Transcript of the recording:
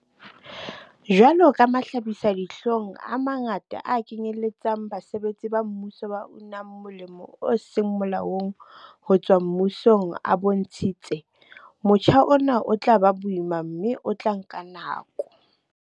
Jwalo ka mahlabisa-dihlong a mangata a kenyeletsang basebetsi ba mmuso ba unang molemo o seng molaong ho tswa mmusong a bontshitse, motjha ona o tla ba boima mme o tla nka nako.